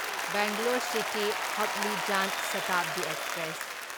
Bangalore city Hubli Jan Shatabdi express